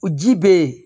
Ji be yen